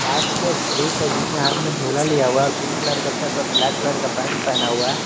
बस में एक पुरुष है जिसे हाथ में झोला लिया हुआ है पिंक कलर का शर्ट और ब्लैक कलर का पैंट पहना हुआ है।